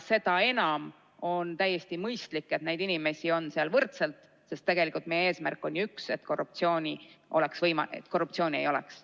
Seda enam on täiesti mõistlik, et neid inimesi on seal võrdselt, sest meie eesmärk on ju üks: et korruptsioon ei oleks võimalik, et korruptsiooni ei oleks.